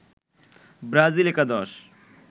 Brazil একাদশ